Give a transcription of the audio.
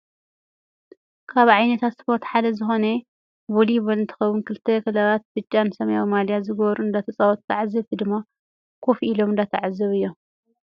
ካብ ዓይነታት ስፖርት ሓደ ዝኮነ ቮሊቮል እንትከውን ክልተ ክለባት ብጫን ሰሚያዊን ማልያ ዝገበሩ እንዳተፃወቱን ተዓዘብቲ ድማ ኮፍ ኢሎም እንዳተዓዘቡ እዮም።